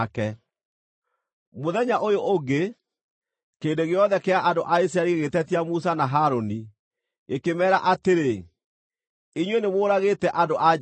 Mũthenya ũyũ ũngĩ, kĩrĩndĩ gĩothe kĩa andũ a Isiraeli gĩgĩtetia Musa na Harũni, gĩkĩmeera atĩrĩ, “Inyuĩ nĩ mũũragĩte andũ a Jehova.”